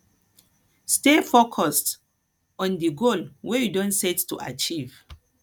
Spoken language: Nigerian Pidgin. stay focused on di goal wey you don set to achieve